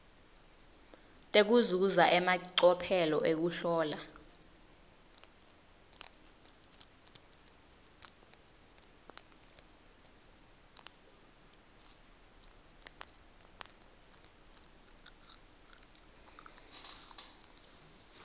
tekuzuza emacophelo ekuhlola